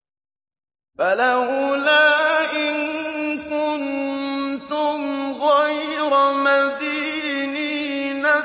فَلَوْلَا إِن كُنتُمْ غَيْرَ مَدِينِينَ